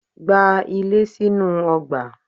Gba ilé sínú ọgbà